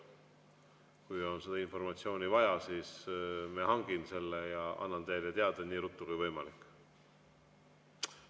Kui on seda informatsiooni vaja, siis ma hangin selle ja annan teile teada nii ruttu kui võimalik.